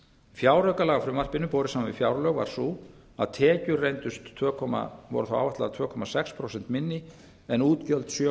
fjáraukalagafrumvarpinu borið saman við fjárlög var sú að tekjur voru þá áætlaðar tvö komma sex prósent minni en útgjöld sjö